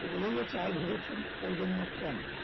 বোঝাই যাচ্ছে আর ভুবন সেন করবেন না কেন